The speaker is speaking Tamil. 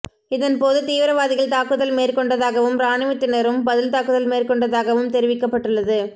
இதன்போது தீவிரவாதிகள் தாக்குதல் மேற்கொண்டதாகவும் இராணுவத்தினரும் பதில் தாக்குதல் மேற்கொண்டதாகவும் தெரிவிக்கப்பட்டுள்ளது